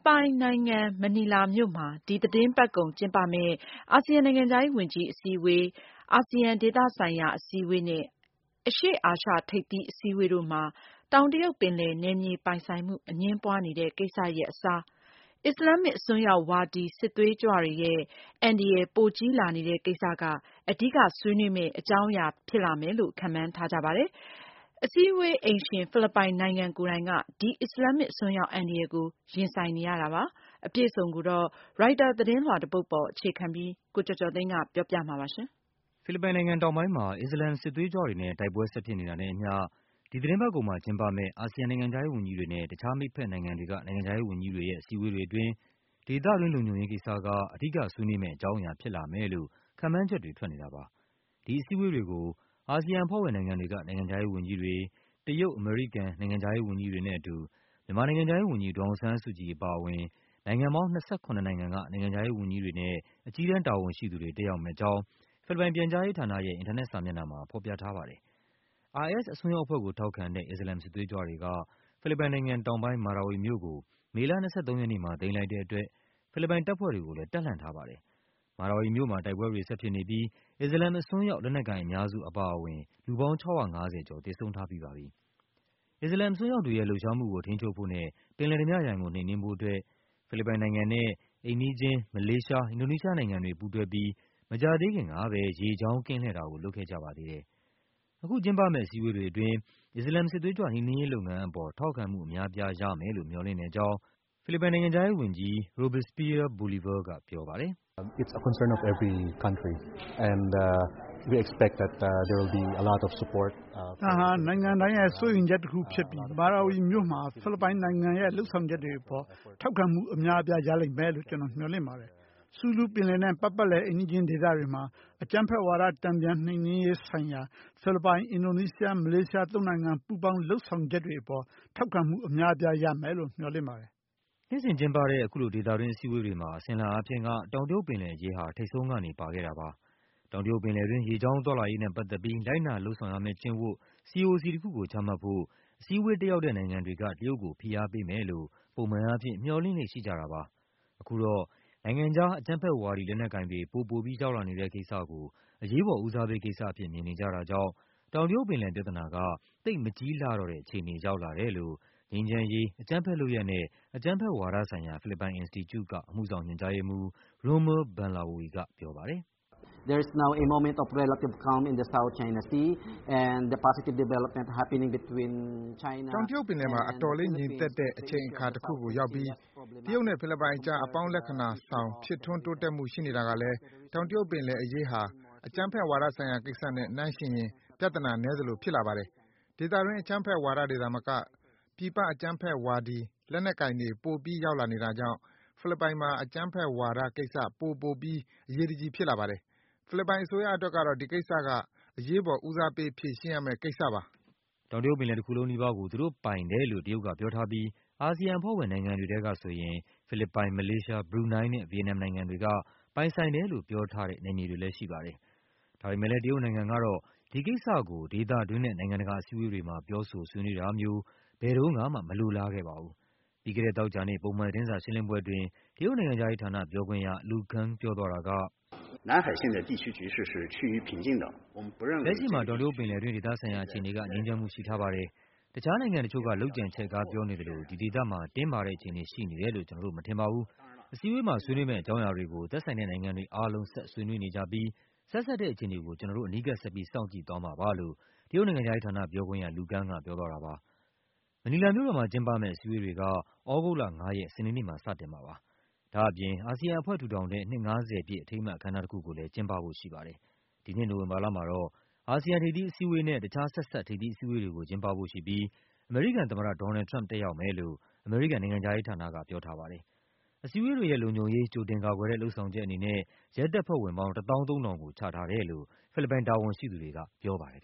ပိုင်နိုင်ငံ မနီလာမြို့မှာ ဒီသီတင်းပတ်ကုန် ကျင်းပမယ့် အာဆီယံ နိုင်ငံခြားရေးဝန်ကြီး အစည်းအဝေး AMM၊ အာဆီယံ ဒေသဆိုင်ရာ အစည်းအဝေး ARF နဲ့ အရှေ့အာရှ ထိပ်သီးအစည်းအဝေး EAS တို့မှာ တောင်တရုတ်ပင်လယ် နယ်မြေပိုင် ဆိုင်မှု အငြင်းပွားနေတဲ့ ကိစ္စရပ်အစား အစ္စလာမ် အစွန်းရောက်ဝါဒီ စစ်သွေးကြွတွေရဲ့ အန္တရာယ် ပိုကြီးလာနေတဲ့ ကိစ္စက အဓိက ဆွေးနွေးကြမယ့် အကြောင်းအရာ ဖြစ်မယ်လို့ ခန့်မှန်းထားကြပါတယ်။ အစည်းအဝေး အိမ်ရှင် ဖိလစ်ပိုင် နိုင်ငံ ကိုယ်တိုင်က ဒီ အစ္စလာမ် အစွန်းရောက် အန္တရာယ်ကို ရင်ဆိုင်နေရတာပါ။ အပြည့်အစုံကို ရိုက်တာ သတင်းလွှာ တပုဒ်ပေါ် အခြေခံပြီး ကိုကျော်ကျော်သိန်းက ပြောပြပါမယ်။ ဖိလစ်ပိုင်နိုင်ငံ တောင်ပိုင်းမှာ အစ္စလာမ် စစ်သွေးကြွတွေနဲ့တိုက်ပွဲ ဆက်ဖြစ်နေတာနဲ့ အမျှ ဒီသီတင်းပတ်ကုန်မှာ ကျင်းပမယ့် အာဆီယံ နိုင်ငံခြားရေး ဝန်ကြီးတွေနဲ့ တခြား မိတ်ဘက်နို်င်ငံတွေက နိုင်ငံခြားရေး ဝန်ကြီးတွေရဲ့အစည်းအဝေးတွေ အတွင်း ဒေသတွင်း လုံခြုံရေး ကိစ္စက အဓိက ဆွေးနွေးမယ့် အကြောင်းအရာ ဖြစ်လာမယ်လို့ ခန့်မှန်းချက်တွေ ထွက်နေတာပါ။ ဒီအစည်းအဝေးတွေကို အာဆီယံ အဖွဲ့ဝင်နိုင်ငံတွေက နိုင်ငံခြားရေး ဝန်ကြီးတွေ၊ တရုတ်၊ အမေရိကန် နိုင်ငံခြားရေး ဝန်ကြီးတွေနဲ့ အတူ မြန်မာ နိုင်ငံခြားရေး ဝန်ကြီး ဒေါ်အောင်ဆန်းစုကြည် အပါအဝင် နိုင်ငံပေါင်း ၂၇ နိုင်ငံက နိုင်ငံခြားရေး ဝန်ကြီးတွေနဲ့အကြီးတန်း တာဝန်ရှိသူတွေ တက်ရောက်မယ့် အကြောင်း ဖိလစ်ပိုင် ပြန်ကြားရေး ဌာနရဲ့ အင်တာနက် စာမျက်နှာမှာ ဖော်ပြထားပါတယ်။ IS အစွန်းရောက် အဖွဲ့ကို ထောက်ခံတဲ့ အစ္စလာမ် စစ်သွေးကြွတွေက ဖိလစ်ပိုင်နိုင်ငံ တောင်ပိုင်း Marawi မြို့ကို မေလ ၂၃ ရက်နေ့မှာ သိမ်းလိုက်တဲ့ အတွက် ဖိလစ်ပိုင် တပ်ဖွဲ့တွေကိုလည်း တပ်လှန့် ထားပါတယ်။ Marawi မြို့မှာ တိုက်ပွဲတွေ ဆက်ဖြစ်နေပြီး အစ္စလာမ် အစွန်းရောက် လက်နက်ကိုင် အများစု အပါအဝင် လူပေါင်း ၆၅၀ ကျော် သေဆုံးထားပြီး ပါပြီ။ အစ္စလာမ် အစွန်းရောက်တွေရဲ့လှုပ်ရှားမှုကို ထိန်းချုပ်ဖို့နဲ့ပင်လယ်ဓားပြရန်ကို နှိမ်နင်းဖို့အတွက် ဖိလစ်ပိုင် နိုင်ငံနဲ့အိမ်နီးချင်း မလေးရှား၊ အင်ဒိုနီးရှား နိုင်ငံတွေ ပူးတွဲပြီး မကြာသေးခင်ကဘဲ ရေကြောင်း ကင်းလှည့်တာကို လုပ်ခဲ့ကြပါသေးတယ်။ အခု ကျင်းပမယ့် အစည်းအဝေးတွေ အတွင်း အစ္စလာမ် စစ်သွေးကြွ နှိမ်နင်းရေး လုပ်ငန်းအပေါ် ထောက်ခံမှု အများအပြား ရမယ်လို့ မျှော်လင့်တဲ့ အကြောင်း ဖိလစ်ပိုင် နိုင်ငံခြားရေးဝန်ကြီး Robespierre Bolivar ကပြောပါတယ်။ “ ဒါဟာ နိုင်ငံတိုင်းရဲ့စိုးရိမ်ချက် တခုဖြစ်ပြီး မာရာဝီမြို့မှာဖိလစ်ပိုင်နိုင်ငံရဲ့လုပ်ဆောင်ချက်တွေ အပေါ် ထောက်ခံမှု အများ အပြား ရလိမ့်မယ်လို့ ကျနော် မျှော်လင့်ပါတယ်။ Sulu ပင်လယ်နဲ့ ပတ်ပတ်လည် အိမ်နီးချင်း ဒေသတွေမှာ အကြမ်းဖက်ဝါဒ တန်ပြန်နှိမ်နင်းရေး ဆိုင်ရာ ဖိလစ်ပိုင်၊ အင်ဒိုနီးရှား၊ မလေးရှား သုံးနိုင်ငံ ပူးပေါင်း လုပ်ဆောင်ချက်တွေ အပေါ် ထောက်ခံမှု အများပြား ရမယ်လို့ မျှော်လင့်ပါတယ်။ ” နှစ်စဉ်ကျင်းပတဲ့ အခုလို ဒေသတွင်း အစည်းအဝေးတွေမှာ အစဉ်အလာ အားဖြင့်က တောင်တရုတ် ပင်လယ်အရေးဟာ ထိပ်ဆုံးကနေ ပါခဲ့တာပါ။ တောင်တရုတ်ပင်လယ်တွင်း ရေကြောင်းသွားလာရေးနဲ့ ပတ်သက်ပြီး လိုက်နာ လုပ်ဆောင်ရမယ့် ကျင့်ဝတ် CoC တခုကို ချမှတ်ဖို့ အစည်းအဝေး တက်ရောက်တဲ့ နိုင်ငံတွေက တရုတ်ကို ဖိအားပေးမယ်လို့ ပုံမှန်အားဖြင့် မျှော်လင့်လေ့ ရှိကြတာပါ။ အခုတော့ နိုင်ငံခြား အကြမ်းဖက်ဝါဒီ လက်နက်ကိုင်တွေ ပိုပိုပြီး ရောက်လာနေတဲ့ ကိစ္စကို အရေးပေါ် ဦးစားပေး ကိစ္စအဖြစ် မြင်နေ ကြတာကြောင့် တောင်တရုတ် ပင်လယ် ပြဿနာက သိပ်မကြီးလှတော့တဲ့ အခြေအနေ ရောက်လာတယ်လို့ ငြိမ်းချမ်းရေး၊ အကြမ်းဖက် လုပ်ရပ်နဲ့ အကြမ်းဖက် ဝါဒဆိုင်ရာ ဖိလစ်ပိုင် အင်စတီကျူက အမှုဆောင် ညွှန်ကြားရေးမှူး Rommel Banlaoi ကပြောပါတယ်။ “တောင်တရုတ် ပင်လယ်မှာ အတော်လေး ငြိမ်သက်တဲ့ အချိန်အခါ တခုကို ရောက်ပြီး တရုတ်နဲ့ ဖိလစ်ပိုင်အကြား အပေါင်းလက္ခဏာဆောင် ဖြစ်ထွန်းတိုးတက်မှု ရှိနေတာကလည်းတောင်တရုတ် ပင်လယ်အရေးဟာ အကြမ်းဖက်ဝါဒ ဆိုင်ရာကိစ္စနဲ့ နှိုင်းယှဉ်ရင် ပြဿနာ နည်းသလို ဖြစ်လာပါတယ်။ ဒေသတွင်း အကြမ်းဖက်ဝါဒီတွေ သာမက ပြည်ပ အကြမ်းဖက်ဝါဒီ လက်နက် ကိုင်တွေ ပိုပြီး ရောက်လာနေတာကြောင့် ဖိလစ်ပိုင်မှာ အကြမ်းဖက်ဝါဒ ကိစ္စက ပိုပိုပြီး အရေးတကြီး ဖြစ်လာပါတယ်။ ဖိလစ်ပိုင် အစိုးရ အတွက်တော့ ဒီကိစ္စက အရေးပေါ် ဦးစားပေး ဖြေရှင်းရမယ့် ကိစ္စပါ။” တောင်တရုတ်ပင်လယ် တခုလုံး နီးပါးကို သူတို့ပိုင်တယ်လို့တရုတ်က ပြောထားပြီး အာဆီယံ အဖွဲ့ဝင်နိုင်ငံတွေထဲက ဆိုရင် ဖိလစ်ပိုင်၊ မလေးရှား၊ ဘရူနိုင်းနဲ့ ဗီယက်နမ် နိုင်ငံတွေက ပိုင်ဆိုင်တယ်လို့ ပြောထားတဲ့ နယ်မြေတွေလည်း ရှိပါတယ်။ ဒါပေမယ့်လည်း တရုတ်နိုင်ငံ ကတော့ ဒီကိစ္စကို ဒေသတွင်းနဲ့ နိုင်ငံတကာ အစည်းအဝေး တွေမှာ ပြောဆို ဆွေးနွေးတာမျိုး ဘယ်တုန်းကမှ မလိုလား ခဲ့ပါဘူး။ ပြီးခဲ့တဲ့ သောကြာနေ့ ပုံမှန်သတင်းစာ ရှင်းလင်းပွဲအတွင်း တရုတ် နိုင်ငံခြားရေးဌာန ပြောခွင့်ရ Lu Kang ပြောသွားတာက “လက်ရှိမှာ တောင်တရုတ် ပင်လယ်တွင်း ဒေသဆိုင်ရာ အခြေအနေက ငြိမ်းချမ်းမှု ရှိထားပါတယ်။ တခြား နိုင်ငံတချို့ က လုပ်ကြံချဲ့ကား ပြောနေသလို ဒီဒေသမှာ တင်းမာတဲ့ အခြေအနေ ရှိနေတယ်လို့ ကျနော်တို့ မထင်ပါဘူး။ အစည်းအဝေးမှာ ဆွေးနွေးမယ့် အကြောင်းအရာ တွေကို သက်ဆိုင်တဲ့ နိုင်ငံတွေ အားလုံး ဆက်ဆွေးနွေး နေကြပြီး ဆက်စပ်တဲ့ အခြေအနေကို ကျနော်တို့ အနီးကပ် ဆက်ပြီး စောင့်ကြည့်သွားမှာပါ။” မနီလာမြို့တော်မှာ ကျင်းပမယ့် အစည်းအဝေးတွေက သြဂုတ်လ ၅ ရက် စနေနေ့မှာ စတင်မှာပါ။ ဒါ့အပြင် အာဆီယံအဖွဲ့ ထူထောင်တဲ့ နှစ် ၅၀ ပြည့် အထိမ်းအမှတ် အခမ်းအနား တခုကိုလည်း ကျင်းပဖို့ရှိပါတယ်။ ဒီနှစ် နိုဝင်ဘာလမှာတော့ အာဆီယံ ထိပ်သီး အစည်းအဝေးနဲ့ တခြား ဆက်စပ် ထိပ်သီးအစည်းအဝေးတွေကို ကျင်းပဖို့ရှိပြီး အမေရိကန် သမ္မတ ဒေါ်နယ်လ်ဒ် ထရမ့်ပ် တက်ရောက်မယ်လို့ အမေရိကန် နိုင်ငံခြားရေးဌာနက ပြောထားပါတယ်။ အစည်းအဝေးတွေရဲ့လုံခြုံရေး ကြိုတင်ကာကွယ်တဲ့ လုပ်ဆောင်ချက် အနေနဲ့ ရဲတပ်ဖွဲ့ဝင်ပေါင်း ၁၃,၀၀၀ ကိုချထားတယ်လို့ ဖိလစ်ပိုင် တာဝန်ရှိသူတွေက ပြောပါတယ်